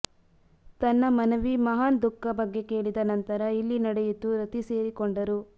ತನ್ನ ಮನವಿ ಮಹಾನ್ ದುಃಖ ಬಗ್ಗೆ ಕೇಳಿದ ನಂತರ ಇಲ್ಲಿ ನಡೆಯಿತು ರತಿ ಸೇರಿಕೊಂಡರು